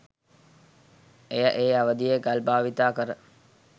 එය ඒ අවධියේ ගල් භාවිතා කර